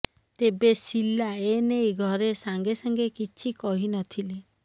ତେବେ ଶୀଲା ଏନେଇ ଘରେ ସାଙ୍ଗେ ସାଙ୍ଗେ କିଛି କହିନଥିଲେ